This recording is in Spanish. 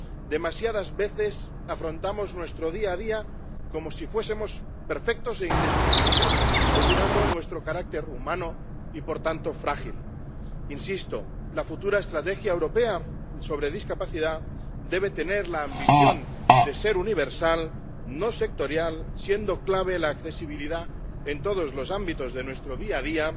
Demasiadas veces afrontamos nuestro día a día como si fuésemos perfectos e indestructibles, olvidando nuestro carácter humano y, por tanto, frágil. Insisto la futura Estrategia Europea sobre Discapacidad debe tener la ambición de ser universal, no sectorial, siendo clave la accesibilidad en todos los ámbitos de nuestro día a día,